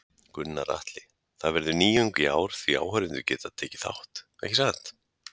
Gunnar Atli: Það verður nýjung í ár því áhorfendur geta tekið þátt, ekki satt?